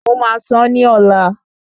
Mo máa sán ní ọ̀la